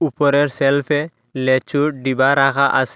উপরের সেল্ফে লেচুর ডিবা রাখা আসে।